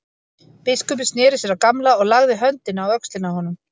Biskupinn sneri sér að Gamla og lagði höndina á öxlina á honum.